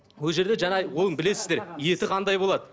ол жерде жаңа оны білесіздер еті қандай болады